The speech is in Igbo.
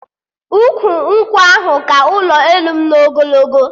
Ukwu nkwụ ahụ ka ụlọ elu m n'ogologo